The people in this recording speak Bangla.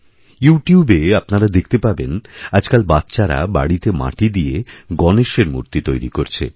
ইউটিউব এ আপনারা দেখতেপাবেন আজকাল বাচ্চারা বাড়িতে মাটি দিয়ে গণেশের মূর্তি তৈরি করছে